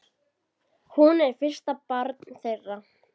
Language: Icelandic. Hún er fyrsta barn þeirra.